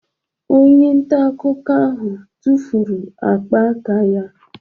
Onye nta akụkọ ahụ tụfuru ákpá aka ya